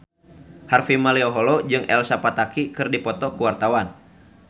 Harvey Malaiholo jeung Elsa Pataky keur dipoto ku wartawan